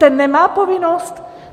Ten nemá povinnost?